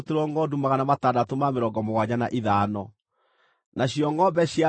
andũ maarĩ 16,000, na kuuma kũrĩ o Jehova akĩrutĩrwo andũ 32.